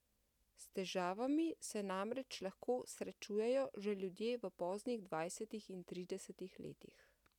S težavami se namreč lahko srečujejo že ljudje v poznih dvajsetih in tridesetih letih.